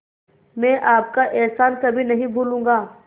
मैं आपका एहसान कभी नहीं भूलूंगा